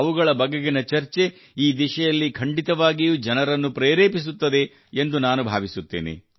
ಅವುಗಳ ಬಗೆಗಿನ ಚರ್ಚೆ ಈ ದಿಶೆಯಲ್ಲಿ ಖಂಡಿತವಾಗಿಯೂ ಜನರನ್ನು ಪ್ರೇರೇಪಿಸುತ್ತದೆ ಎಂದು ನಾನು ಭಾವಿಸುತ್ತೇನೆ